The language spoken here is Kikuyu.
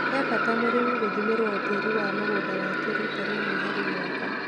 He bata mũrĩmi gūthimĩrwo tĩri wa mũgũnda wake rita rĩmwe harĩ mwaka.